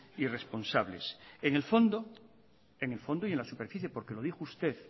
irresponsables en el fondo en el fondo y en la superficie porque lo dijo usted